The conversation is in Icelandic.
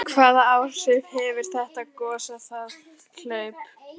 Hvaða áhrif hefur þetta gos á það hlaup?